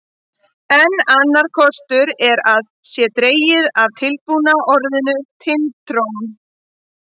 Enn annar kostur er að það sé dregið af tilbúna orðinu Tind-trón.